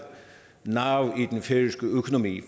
nerve i den færøske økonomi